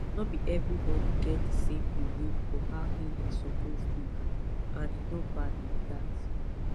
no be everybody get the same belief for how healing suppose be and e no bad like that